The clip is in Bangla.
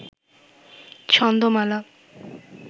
ছন্দমালা